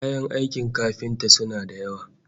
Kayan aikin kafinta suna da yawa